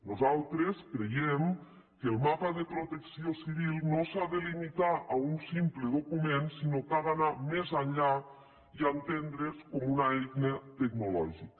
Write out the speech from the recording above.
nosaltres creiem que el mapa de protecció civil no s’ha de limitar a un simple document sinó que ha d’anar més enllà i entendre’s com una eina tecnològica